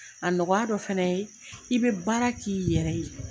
A nɔgɔya dɔ fɛnɛ ye i bɛ baara k'i yɛrɛ ye.